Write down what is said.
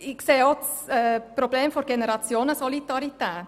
Ich sehe auch das Problem der Generationensolidarität.